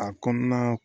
A kɔnɔna